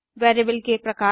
variable के प्रकार